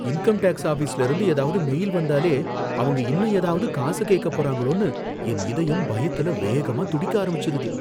Income tax ஆபீஸ்ல இருந்து ஏதாவது மெயில் வந்தாலே, அவங்க இன்னும் ஏதாவது காசு கேக்க போறாங்களோன்னு என் இதயம் பயத்துல வேகமா துடிக்க ஆரம்பிச்சிருது.